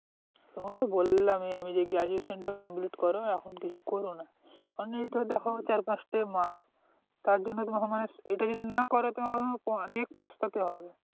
তো তোমাকে তো বললামই আমি আমি যে graduation টা complete করো এখন কিছু করোনা কারণ দ্যাখো চার পাঁচটা মাস তার জন্য তোমাকে মানে এটা যদি না করো তোমাকে মানে পস্তাতে হবে